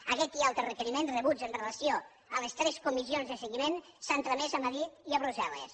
aguest i altres requeriments rebuts amb relació a les tres comissions de seguiment s’han tramès a madrid i a brussel·les